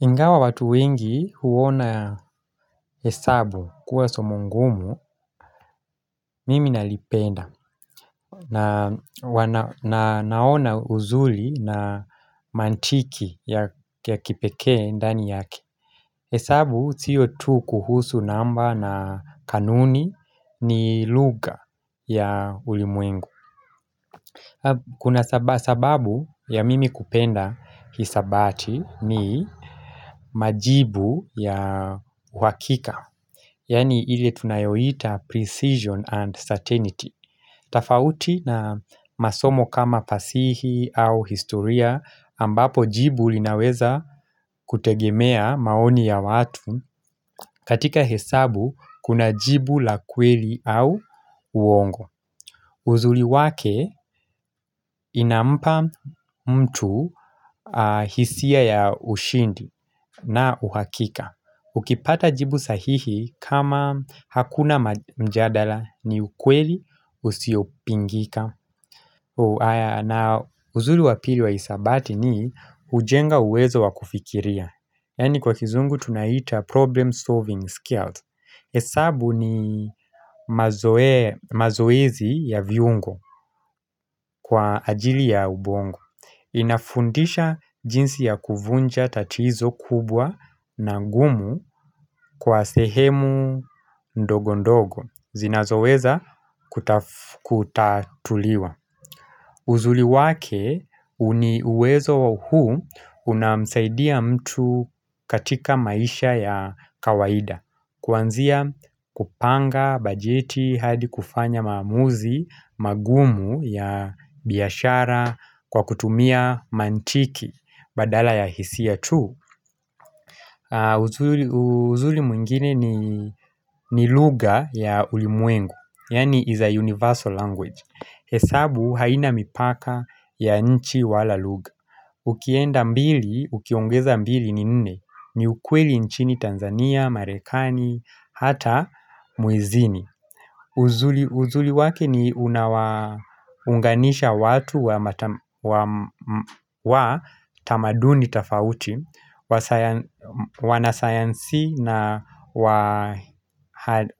Ingawa watu wengi huona hesabu kuwa somo ngumu mimi nalipenda na naona uzuri na mantiki ya kipekee ndani yaki hesabu sio tu kuhusu namba na kanuni ni lugha ya ulimwengu Kuna sababu ya mimi kupenda hisabati ni majibu ya wakika Yani ile tunayohita precision and certainty tofauti na masomo kama fasihi au historia ambapo jibu linaweza kutegemea maoni ya watu katika hesabu kuna jibu la kweli au uongo uzuri wake inampa mtu hisia ya ushindi na uhakika Ukipata jibu sahihi kama hakuna mjadala ni ukweli usiopingika na uzuri wa pili wa hisabati ni hujenga uwezo wa kufikiria Yaani kwa kizungu tunaita problem solving skills hesabu ni mazoezi ya viungo kwa ajili ya ubongo inafundisha jinsi ya kuvunja tatizo kubwa na gumu kwa sehemu ndogo ndogo zinazoweza kutatuliwa uzuri wake uwezo huu unamsaidia mtu katika maisha ya kawaida Kwanzia kupanga, bajeti, hadi kufanya maamuzi magumu ya biashara kwa kutumia mantiki badala ya hisia tu uzuri mwingine ni lugha ya ulimwengo, yaani is a universal language hesabu haina mipaka ya nchi wala lugha Ukienda mbili, ukiongeza mbili ni nne ni ukweli nchini Tanzania, Marekani, hata mwezini uzuri wake ni unawaunganisha watu wa tamaduni tofauti Wanasayansi na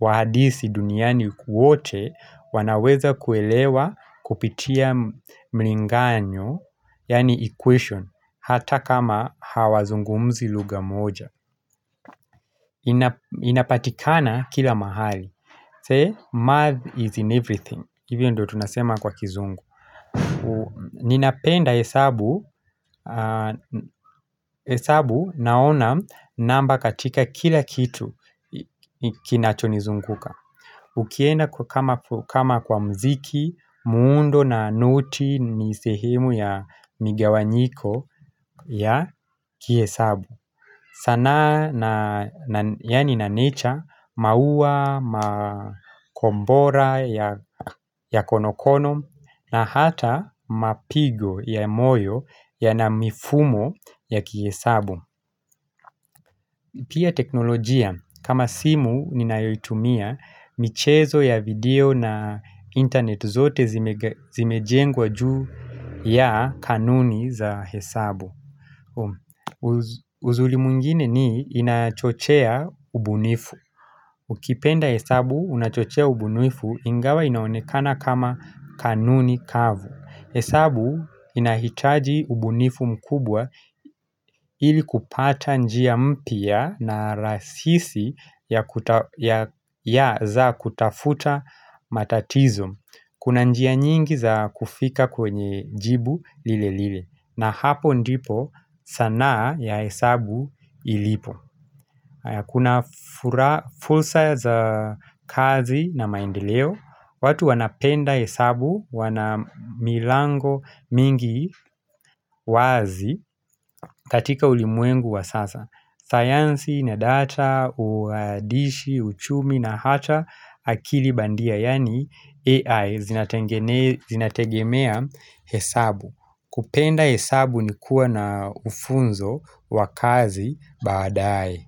wahadisi duniani kwote wanaweza kuelewa kupitia mlinganyo Yaani equation Hata kama hawazungumzi lugha moja inapatikana kila mahali Say math is in everything Hivyo ndo tunasema kwa kizungu Ninapenda hesabu hesabu naona namba katika kila kitu Kinachonizunguka Ukienda kwa kama kwa mziki muundo na noti ni sehemu ya migawanyiko ya kihesabu sanaa na yaani na nature maua, makombora ya konokono na hata mapigo ya moyo yana mifumo ya kihesabu pia teknolojia kama simu ninayoitumia michezo ya video na internet zote zimejengwa juu ya kanuni za hesabu uzuri mungine ni inachochea ubunifu Ukipenda hesabu unachochea ubunifu ingawa inaonekana kama kanuni kavu hesabu inahitaji ubunifu mkubwa ili kupata njia mpya na rasisi ya za kutafuta matatizo Kuna njia nyingi za kufika kwenye jibu lile lile na hapo ndipo sanaa ya hesabu ilipo Kuna fursa za kazi na maendeleo watu wanapenda hesabu, wana milango mingi wazi katika ulimwengu wa sasa science na data, uadishi, uchumi na hata akili bandia Yaani AI zinategemea hesabu kupenda hesabu ni kuwa na ufunzo wa kazi baadae.